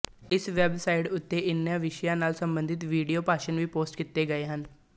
ਇਸ website ਉੱਤੇ ਇਨ੍ਹਾਂ ਵਿਸ਼ਿਆਂ ਨਾਲ ਸੰਬੰਧਿਤ ਵੀਡੀਉ ਭਾਸ਼ਣ ਵੀ ਪੋਸਟ ਕੀਤੇ ਗਏ ਹਨ